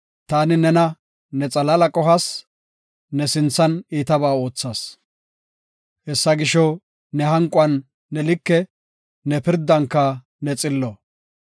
Taani nena, ne xalaala qohas; ne sinthan iitabaa oothas. Hessa gisho, ne hanquwan ne like; ne pirdanka ne xillo.